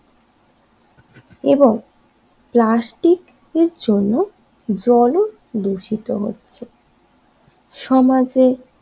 এবং প্লাস্টিকের জন্য জল ও দূষিত হচ্ছে সমাজের